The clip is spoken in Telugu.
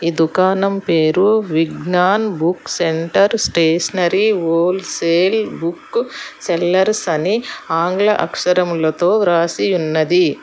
ఈ దుకాణం పేరు Vignan book centre stationery wholesale book sellers అని ఆంగ్ల అక్షరములతో రాసి ఉన్నది.